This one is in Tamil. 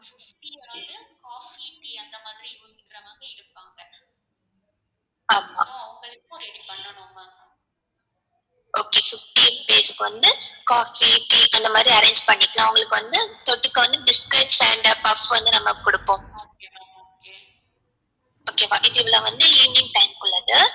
okay fifteen பேருக்கு வந்து coffee tea அந்த மாதிரி வந்து arrange பண்ணிக்கலாம் அவங்களுக்கு வந்து தொட்டுக்க வந்து biscuit and puffs வந்து நம்ம குடுப்போம் okay வா இப்போ இவ்ளோ வந்து evening time குள்ளது